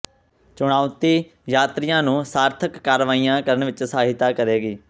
ਚੁਣੌਤੀ ਯਾਤਰੀਆਂ ਨੂੰ ਸਾਰਥਕ ਕਾਰਵਾਈਆਂ ਕਰਨ ਵਿੱਚ ਸਹਾਇਤਾ ਕਰੇਗੀ